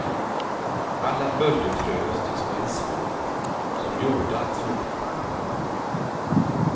Alla böljor frös till små isvågor, som gjorda att snubbla på.